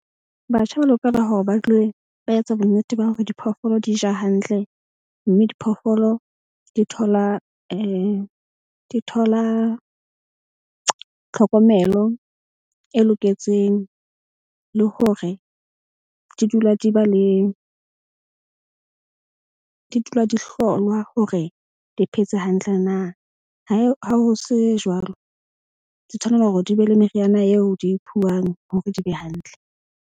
Batjha ba lokela hore ba dule ba etsa bonnete ba hore diphoofolo di ja hantle. Mme diphoofolo di thola tlhokomelo e loketseng. Le hore di dula di ba le di dula di hlolwa hore di phetse hantle na. Ha ho se jwalo, di tshwanela hore di be le meriana eo di hore di be hantle.